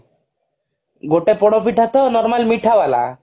ଗୋଟେ ପୋଡପିଠା ତ normal ମିଠା ବାଲା